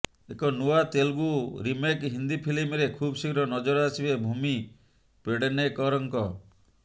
ଏକ ନୂଆ ତେଲୁଗୁ ରିମେକ୍ ହିନ୍ଦି ଫିଲ୍ମରେ ଖୁବ୍ ଶୀଘ୍ର ନଜର ଆସିବେ ଭୂମି ପେଡନେକରଙ୍କ